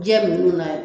Jɛ ninnu na